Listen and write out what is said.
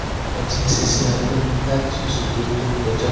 mo sì ti ń ṣiṣẹ́ alẹ́ láti oṣù tó tó kọjá